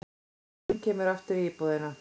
Sálin kemur aftur í íbúðina.